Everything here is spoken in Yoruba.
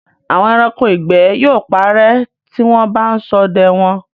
Àwọn ẹranko ìgbẹ́ yóò parẹ́ tí wọ́n bá ń ṣọdẹ wọn.